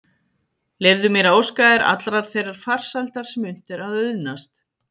Leyfðu mér að óska þér allrar þeirrar farsældar sem unnt er að auðnast.